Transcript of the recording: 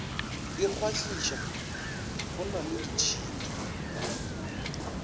ikgwahliša go na le ditšhipi